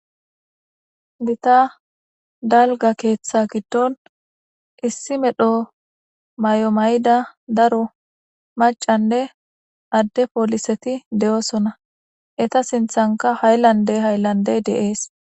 Dita dalga keeththa giddon issi medho may7o mayda daro macanne adde pooliseti de7oosona eta sinthanka hayllande hayllandey deees